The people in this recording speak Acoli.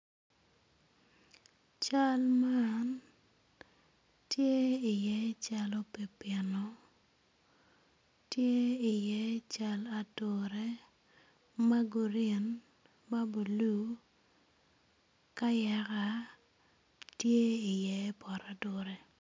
Cal man tye iye cal pipino tye iye cal ature ma grin ki ma bulu kayaka tye iye pot ature.